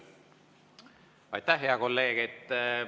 Aitäh, hea kolleeg!